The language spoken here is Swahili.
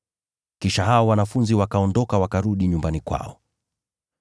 Kisha hao wanafunzi wakaondoka wakarudi nyumbani kwao.